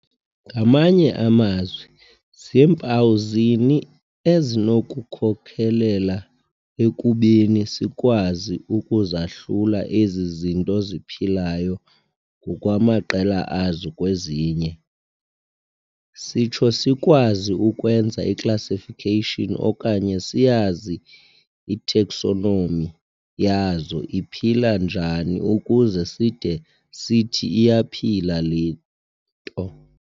Ngamanye amazwi, zimpawu zini ezinokukhokelela ekubeni sikwazi ukuzahlula ezi zinto ziphilayo ngokwamaqela azo kwezinye. Sitsho sikwazi ukwenza i"classification", okanye siyazi i"taxonomy",yazo, "iphila njani ukuze side sithi iyaphila le nto?